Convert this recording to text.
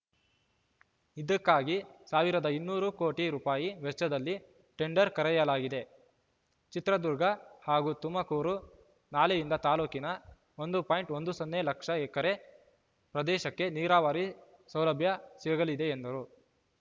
ಇದಕ್ಕಾಗಿ ಸಾವಿರದ ಇನ್ನೂರು ಕೋಟಿ ರುಪಯಿ ವೆಚ್ಚದಲ್ಲಿ ಟೆಂಡರ್‌ ಕರೆಯಲಾಗಿದೆ ಚಿತ್ರದುರ್ಗ ಹಾಗೂ ತುಮಕೂರು ನಾಲೆಯಿಂದ ತಾಲೂಕಿನ ಒಂದು ಪಾಯಿಂಟ್ ಒಂದು ಸೊನ್ನೆ ಲಕ್ಷ ಎಕರೆ ಪ್ರದೇಶಕ್ಕೆ ನೀರಾವರಿ ಸೌಲಭ್ಯ ಸಿಗಲಿದೆ ಎಂದರು